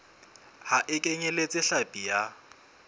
ha e kenyeletse hlapi ya